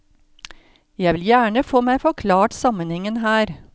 Jeg vil gjerne få meg forklart sammenhengen her.